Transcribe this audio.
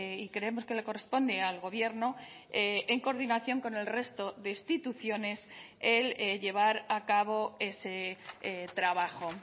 y creemos que le corresponde al gobierno en coordinación con el resto de instituciones el llevar a cabo ese trabajo